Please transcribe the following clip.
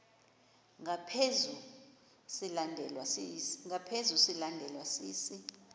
ngaphezu silandelwa sisi